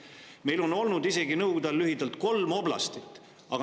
Meil oli Nõukogude ajal lühiajaliselt isegi kolm oblastit.